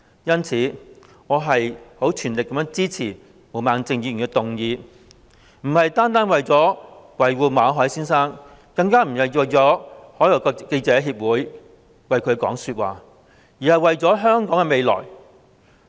因此，我全力支持毛孟靜議員的議案，並非單純為了維護馬凱先生，更不是為外國記者會說話，而是為了香港的未來。